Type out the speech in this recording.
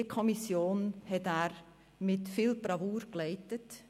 diese Kommission hat er mit Bravour geleitet.